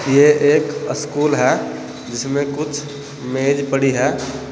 ये एक अस्कूल है जिसमें कुछ मेज पड़ी है।